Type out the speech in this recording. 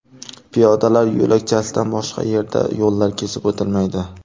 Piyodalar yo‘lakchasidan boshqa yerda yo‘llar kesib o‘tilmaydi.